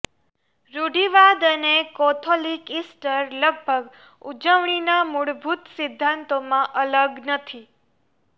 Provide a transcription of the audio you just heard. રૂઢિવાદી અને Catholic Easter લગભગ ઉજવણી ના મૂળભૂત સિદ્ધાંતોમાં અલગ નથી